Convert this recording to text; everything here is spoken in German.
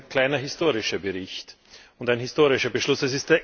Das ist ein kleiner historischer Bericht und ein historischer Beschluss.